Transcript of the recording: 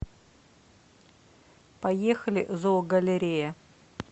поехали зоогалерея